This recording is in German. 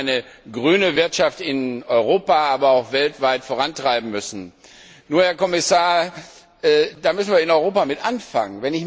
dass wir eine grüne Wirtschaft in Europa, aber auch weltweit vorantreiben müssen. Nur, Herr Kommissar, damit müssen wir in Europa anfangen.